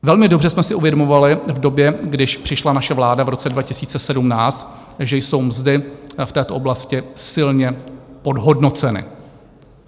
Velmi dobře jsme si uvědomovali v době, když přišla naše vláda v roce 2017, že jsou mzdy v této oblasti silně podhodnoceny.